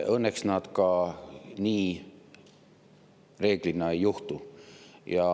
Õnneks nad reeglina nii ka ei juhtu.